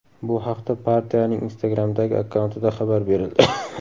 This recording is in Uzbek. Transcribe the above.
Bu haqda partiyaning Instagram’dagi akkauntida xabar berildi .